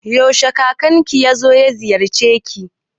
Yaushe ne kakanka yazo ma ziyarci?